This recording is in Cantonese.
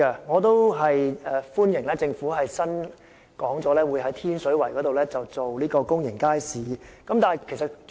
我歡迎政府表示會在天水圍興建公營街市，但我希望當局澄清一點。